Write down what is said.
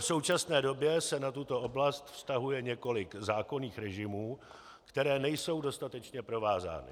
V současné době se na tuto oblast vztahuje několik zákonných režimů, které nejsou dostatečně provázány.